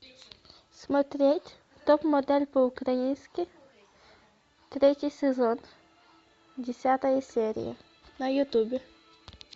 смотреть топ модель по украински третий сезон десятая серия на ютубе